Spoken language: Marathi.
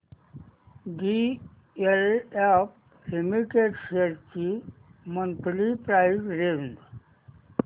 डीएलएफ लिमिटेड शेअर्स ची मंथली प्राइस रेंज